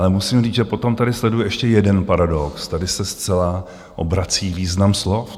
Ale musím říct, že potom tady sleduji ještě jeden paradox - tady se zcela obrací význam slov.